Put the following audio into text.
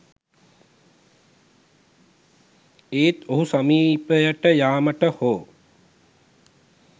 ඒත් ඔහු සමීපයට යාමට හෝ